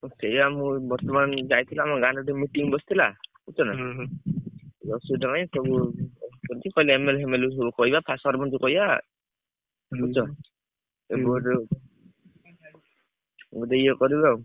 ସେଇଆ ମୁଁ ବର୍ତ୍ତମାନ ଯାଇଥିଲି ଆମ ଗାଁରେ ଗୋଟେ meeting ବସିଥିଲା ବୁଝୁଛନା ପାଇଁ ସବୁ କହିଲେ MLA ଫେମେଲେ କୁ ସବୁ କହିବା ମାନଙ୍କୁ କହିଆ ବୁଝୁଛ ସମସ୍ତେ ଇଏ କରିବେ ଆଉ।